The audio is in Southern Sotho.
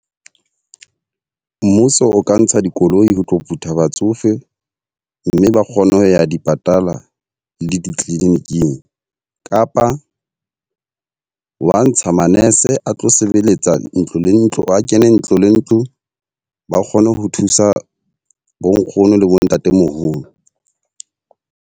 Mmuso o ka ntsha dikoloi ho tlo putha batsofe, mme ba kgone ho ya di patala le di-clinic-ng. Kapa wa ntsha manese a tlo sebeletsa ntlo le ntlo, a kene ntlo le ntlo, ba kgone ho thusa bo nkgono le bo ntatemoholo.